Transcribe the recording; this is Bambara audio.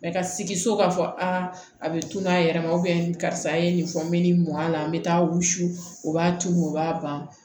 ka sigi so k'a fɔ aa a bɛ tunu a yɛrɛ ma karisa ye nin fɔ n bɛ nin mɔn a la n bɛ taa wusu o b'a tuuru u b'a ban